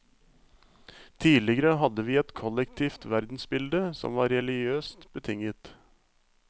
Tidligere hadde vi et kollektivt verdensbilde som var religiøst betinget.